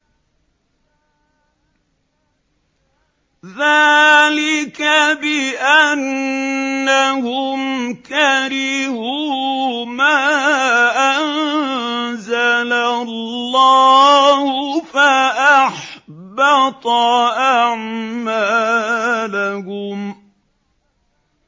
ذَٰلِكَ بِأَنَّهُمْ كَرِهُوا مَا أَنزَلَ اللَّهُ فَأَحْبَطَ أَعْمَالَهُمْ